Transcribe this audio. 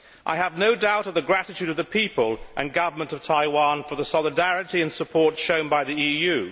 I have no doubt of the gratitude of the people and Government of Taiwan for the solidarity and support shown by the EU.